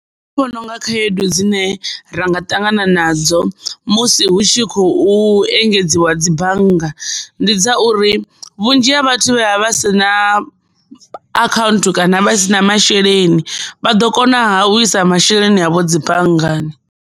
Nṋe ndi vhona unga khaedu dzine ra nga ṱangana nadzo musi hu tshi khou engedziwa dzi bannga ndi dza uri vhunzhi ha vhathu vha vha si na account kana vha si na masheleni vha ḓo konaha u isa masheleni avho dzi banngani.